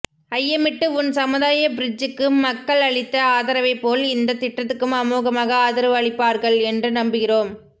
ஐயமிட்டு உண் சமுதாய பிர்ட்ஜுக்கு மக்கள் அளித்த ஆதரவைப் போல் இந்த திட்டத்துக்கும் அமோகமாக ஆதரவு அளிப்பார்கள் என்று நம்புகிறோம்